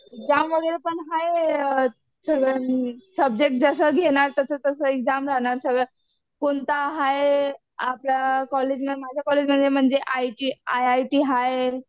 Exam वगैरे पण हाय सब्जेक्ट जसं जसं घेणार तसं तसं एक्झाम राहणार सगळं. कोणता हाय आपल्या कॉलेजला, माझ्या कॉलेजला आय आय टी हाय